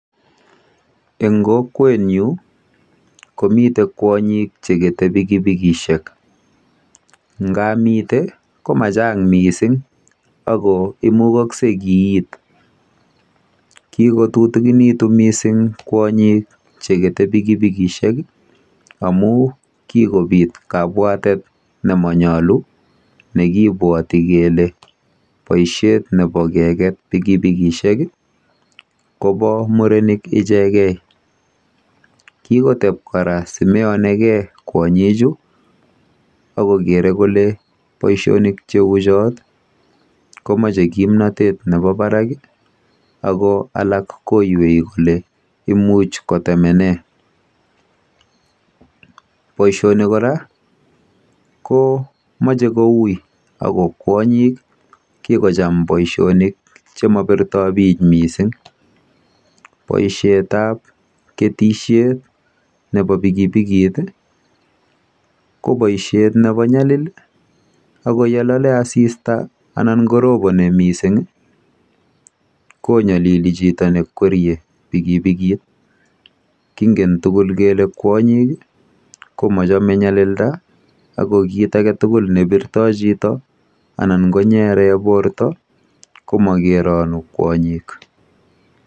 Eng' kokwenyu, komitei kwonyik che kete pikipikishek. Nga mitei, ko ma chang' missing' ako mugakse kiit. Kikotutikinitu missing' kwonyik che kete pikipikishek amu kikopiit kapwatet ne manyalu, ne kipwati kole poishet nepo keket pikipikishek kopa murenik ichegei. Kikotep kora si meyani gei kwonyichu ako kere kole poishonik che u chot ko mache kimnatet nepo parak ako alak koywei kole imuchi kotemene. Poishoni kora ko mache koui ako kwonyiik kikocham poishonik che mapirtai pich missing'. Poishetap ketishet nepo pikipikit i ,ko paishet nepo nyalil i ako ye lale asista anan koroponi missing' i, konyalili chito ne kwerie pikipikit. Kingen tugul kele kwonyik ko machame nyalilda, ako kiit age tugul ne pirtai chito anan konyere porto ko makeranu kwonyiik.